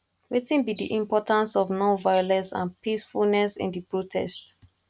wetin be di importance of nonviolence and peacefulness in di protest